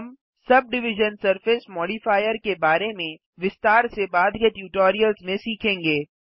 हम subdivision surface modifier के बारे में विस्तार से बाद के ट्यूटोरियल्स में सीखेंगे